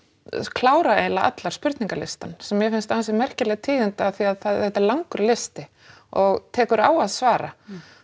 klára eiginlega allar spurningalistann sem mér finnst ansi merkileg tíðindi af því að þetta er langur listi og tekur á að svara